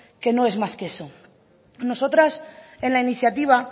que no es más que eso nosotras en la iniciativa